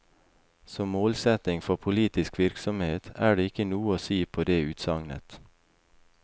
Som målsetning for politisk virksomhet er det ikke noe å si på det utsagnet.